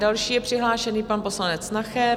Další je přihlášený pan poslanec Nacher.